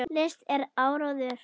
List er áróður.